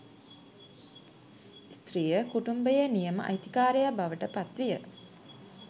ස්ත්‍රිය කුටුම්භයේ නියම අයිතිකාරයා බවට පත් විය